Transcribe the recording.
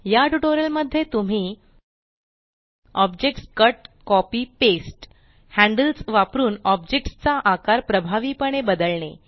या ट्यूटोरियल मध्ये तुम्ही objects cut copy paste handles वापरून ऑब्जेक्ट्स चा आकार प्रभावीपणे बदलणे